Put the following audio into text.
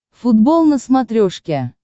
футбол на смотрешке